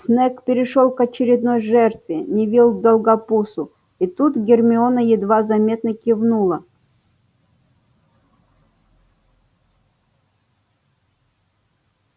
снегг перешёл к очередной жертве невилл долгопупсу и тут гермиона едва заметно кивнула